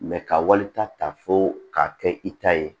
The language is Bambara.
ka walita ta fo k'a kɛ i ta ye